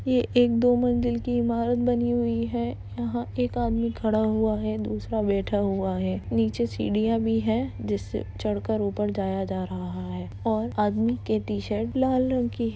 ये एक दो मंजिल की इमारत बनी हुई है यहाँ एक आदमी खड़ा हुआ है दूसरा बैठा हुआ है नीचे सीढ़ियां भी है जिससे चढ़ कर ऊपर जाया जा रहा है और आदमी के टी-शर्ट लाल रंग की --